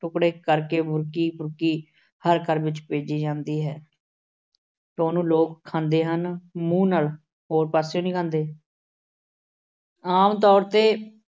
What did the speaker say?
ਟੁਕੜੇ ਕਰਕੇ ਬੁਰਕੀ-ਬੁਰਕੀ ਹਰ ਘਰ ਵਿੱਚ ਭੇਜੀ ਜਾਂਦੀ ਹੈ। ਤੇ ਉਹਨੂੰ ਲੋਕ ਖਾਂਦੇ ਹਨ ਮੂੰਹ ਨਾਲ। ਹੋਰ ਪਾਸੇ ਨੀਂ ਖਾਂਦੇ। ਆਮ ਤੌਰ 'ਤੇ